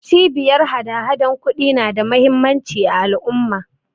Cibiyar hadahadan ƙudi na da muhimmanci a al'umma.